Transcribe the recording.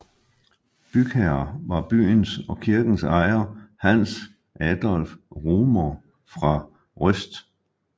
Bygherre var byens og kirkens ejer Hans Adolph Rumohr fra Røst